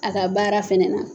A ka baara fɛnɛ na